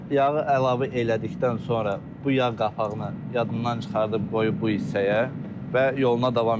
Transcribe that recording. Yağı əlavə elədikdən sonra bu yağ qapağını yadından çıxardıb qoyub bu hissəyə və yoluna davam eləyib.